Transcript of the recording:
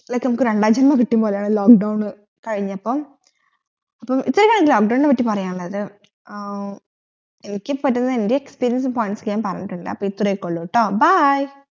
നമ്മുക് രണ്ടാം ജന്മം കിട്ട്ടും പോലെ lock down കഴിഞ്ഞപ്പം അപ്പൊ ഇത്രേ ഉള്ളു lock down നെ പാട്ടി പറയാനുള്ളത് ആഹ് എനിക്കിപ്പ തന്റെ experience points അപ്പോ ഇത്രയ്ക്കൊള്ളൂട്ടോ bye